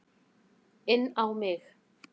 Inn á mig.